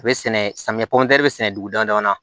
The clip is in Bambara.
A bɛ sɛnɛ samiyɛ bɛ sɛnɛ dugu dama dama na